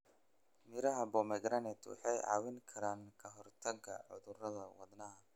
Miraha pomegranate waxay caawin karaan ka hortagga cudurrada wadnaha.